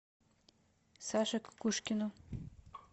саше кукушкину